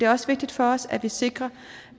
også vigtigt for os at vi sikrer